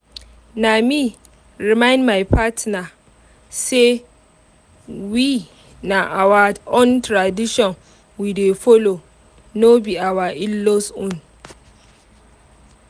na me remind my partner say we na our own tradition we dey follo no be our in-laws own